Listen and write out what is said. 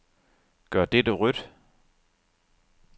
Gør dette rødt.